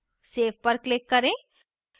save पर click करें